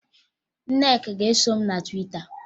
Nneka ga-eso m na Twita